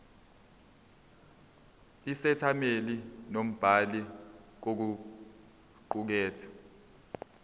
isethameli nombhali kokuqukethwe